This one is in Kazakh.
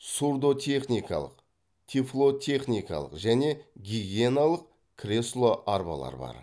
сурдотехникалық тифлотехникалық және гигиеналық кресло арбалар бар